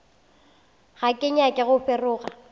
ga ke nyake go feroga